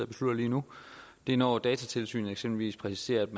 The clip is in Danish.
beslutter lige nu det er når datatilsynet eksempelvis præciserer at